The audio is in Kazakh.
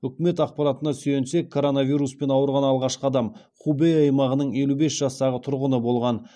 үкімет ақпаратына сүйенсек коронавируспен ауырған алғашқы адам хубэй аймағының елу бес жастағы тұрғыны болған